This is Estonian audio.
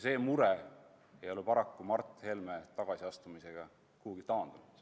See mure ei ole paraku Mart Helme tagasiastumisega kuhugi taandunud.